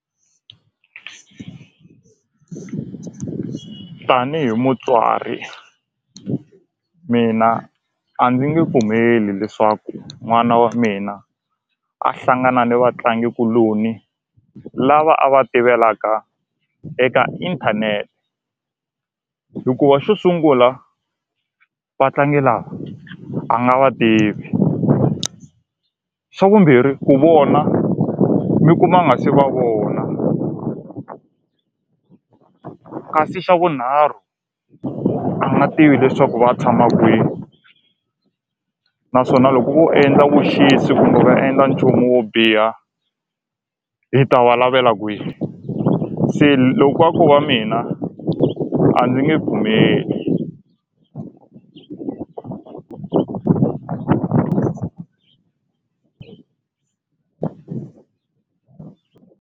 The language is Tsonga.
Tanihi mutswari mina a ndzi nge pfumeli leswaku n'wana wa mina a hlangana ni vatlangikuloni lava a va tirhelaka eka inthanete hikuva xo sungula vatlangi lava a nga va tivi xa vumbirhi ku vona mi kuma a nga se va vona kasi xa vunharhu a nga tivi leswaku va tshama kwini naswona loko vo endla vuxisi kumbe va endla nchumu wo biha hi ta va lavela kwihi se loko a ko va mina a ndzi nge pfumeli.